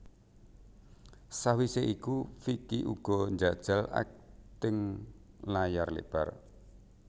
Sawise iku Vicky uga njajal akting layar lebar